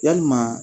Yalima